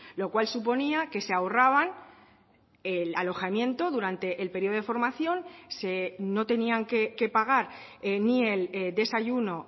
lo cual suponía que se ahorraban el alojamiento durante el periodo de formación no tenían que pagar ni el desayuno